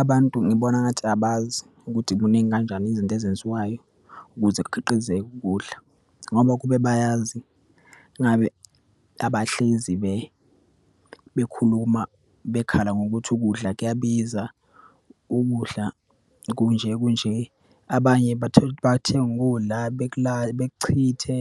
Abantu ngibona ngathi abazi ukuthi kuningi kanjani izinto ezenziwayo ukuze kukhiqizeke ukudla. Ngoba kube bayazi, ngabe abahlezi bekhuluma, bekhala ngokuthi ukudla kuyabiza, ukudla kunje kunje. Abanye bathola ukuthi bathenga ukudla, bekuchithe,